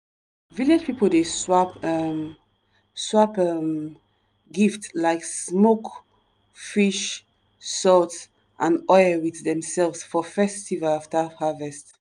village people dey swap um swap um gift like smoke fish salt and oil with themselves for festival after harvest.